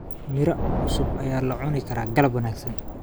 Miro cusub ayaa loo cuni karaa galab wanaagsan.